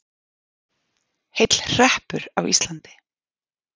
Heill hreppur á Íslandi.